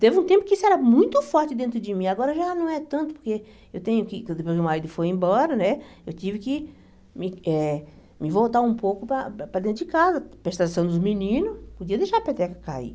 Teve um tempo que isso era muito forte dentro de mim, agora já não é tanto, porque eu tenho que depois que o marido foi embora né, eu tive que me eh me voltar um pouco para para dentro de casa, prestar atenção dos meninos, podia deixar a peteca cair.